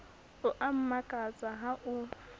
o a mmakatsa ha o